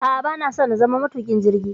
a'a bana so na zama matuƙin jirgi